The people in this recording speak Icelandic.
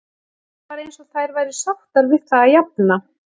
Það var eins og þær væru sáttar við það að jafna.